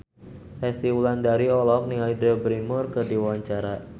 Resty Wulandari olohok ningali Drew Barrymore keur diwawancara